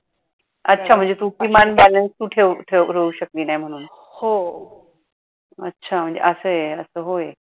अच्छा म्हणजे तू किमान balance तू ठेऊ शकली नाही म्हणून अच्छा म्हणजे असं आहे अस होय.